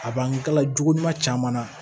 A bangela jugu ɲuman caman na